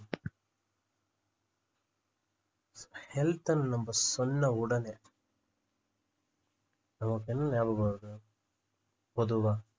health ன்னு நம்ப சொன்ன உடனே நமக்கு என்ன நியாபகம் வருது பொதுவா